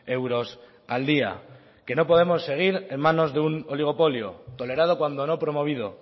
euros al día que no podemos seguir en manos de un oligopolio tolerado cuando no promovido